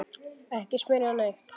Ekki smyrja neitt.